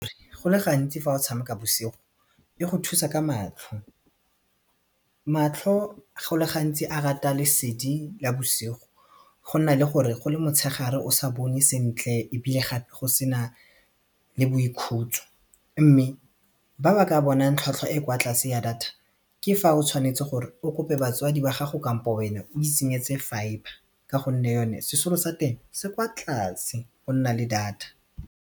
Go le gantsi fa o tshameka bosigo, e go thusa ka matlho matlho go le gantsi a rata lesedi la bosigo go nna le gore go le motshegare o sa bone sentle ebile gape go sena le boikhutso mme ba ba ka bonang tlhwatlhwa e kwa tlase ya data ke fa o tshwanetse gore o kope batswadi ba gago kampo wena o itsenyetse fibre ka gonne yone sesolo sa teng se kwa tlase o nna le data.